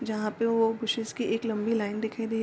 जहॉ पे वो बुसेस की एक लंबी लाइन दिखाई दे --